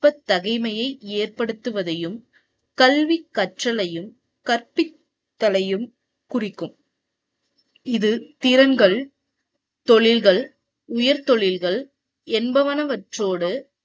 நுட்ப தகைமையை ஏற்படுத்துவதையும், கல்வி கற்றலையும், கற்பித்தலையும் குறிக்கும். இது திறன்கள் தொழில்கள், உயர் தொழில்கள் என்பனவற்றோடு